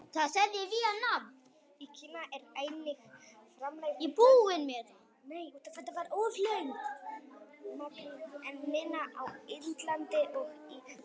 Í Kína er einnig framleitt töluvert magn, en minna á Indlandi og í Víetnam.